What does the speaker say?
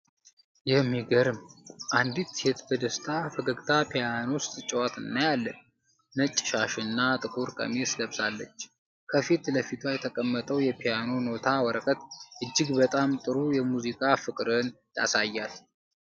የሚገርም አንዲት ሴት በደስታ ፈገግታ ፒያኖ ስትጫወት እናያለን። ነጭ ሻሽና ጥቁር ቀሚስ ለብሳለች። ከፊት ለፊቷ የተቀመጠው የፒያኖ ኖታ ወረቀት እጅግ በጣም ጥሩ የሙዚቃ ፍቅርን ያሳያል።